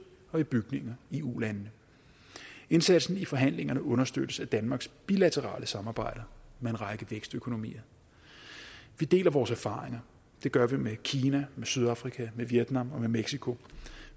og i bygninger i ulandene indsatsen i forhandlingerne understøttes af danmarks bilaterale samarbejder med en række vækstøkonomier vi deler vores erfaringer det gør vi med kina med sydafrika med vietnam og med mexico